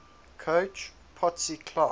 coach potsy clark